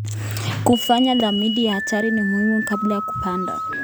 Kufanya tathmini ya hatari ni muhimu kabla ya kupanda.